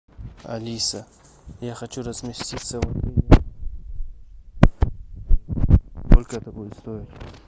алиса я хочу разместиться сколько это будет стоить